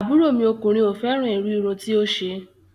Àbúrò mi ọkùnrin ò fẹ́ràn irú irun tí ó ṣe